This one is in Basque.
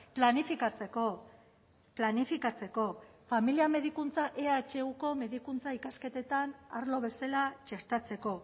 planifikatzeko planifikatzeko familia medikuntza ehuko medikuntza ikasketetan arlo bezala txertatzeko